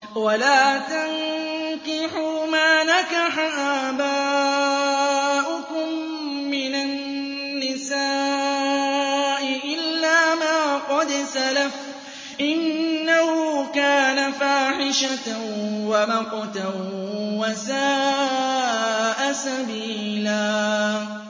وَلَا تَنكِحُوا مَا نَكَحَ آبَاؤُكُم مِّنَ النِّسَاءِ إِلَّا مَا قَدْ سَلَفَ ۚ إِنَّهُ كَانَ فَاحِشَةً وَمَقْتًا وَسَاءَ سَبِيلًا